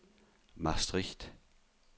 Maastricht